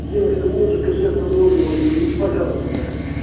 девушка музыка с этого номера уберите пожалуйста